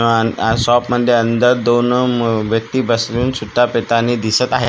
अन् शॉप मध्ये अंदर दोन व्यक्ती बसून सुट्टा पितानी दिसत आहेत.